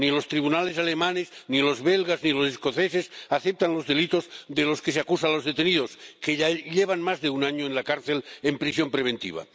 Ni los tribunales alemanes, ni los belgas, ni los escoceses aceptan los delitos de los que se acusa a los detenidos, que ya llevan más de un año en la cárcel en prisión preventiva.